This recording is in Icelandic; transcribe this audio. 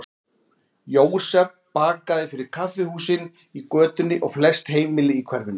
Jósef bakaði fyrir kaffihúsin í götunni og flest heimili í hverfinu.